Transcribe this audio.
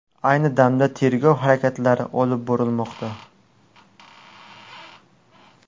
Ayni damda tergov harakatlari olib borilmoqda.